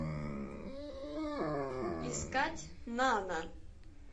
искать нана